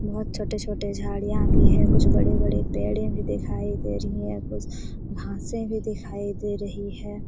बहोत छोटे-छोटे झाड़ियां भी है कुछ बड़े-बड़े पेड़े भी दिखाई दे रही है कुछ घासें भी दिखाई दे रही है।